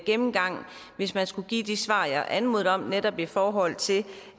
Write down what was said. gennemgang hvis man skulle give de svar jeg anmodede om netop i forhold til